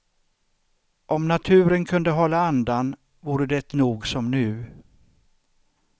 Om naturen kunde hålla andan vore det nog som nu.